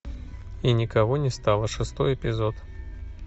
и никого не стало шестой эпизод